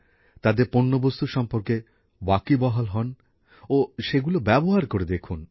তাদের পণ্যবস্তু সম্পর্কে খোঁজ খবর হন ও সেগুলি ব্যবহার করে দেখুন